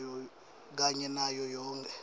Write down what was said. kanye nayo yonkhe